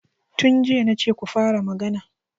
Tun jiya na ce ku fara magana!